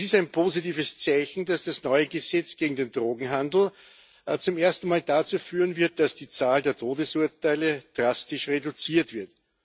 Es ist ein positives Zeichen, dass das neue Gesetz gegen den Drogenhandel zum ersten Mal dazu führen wird, dass die Zahl der Todesurteile drastisch reduziert wird.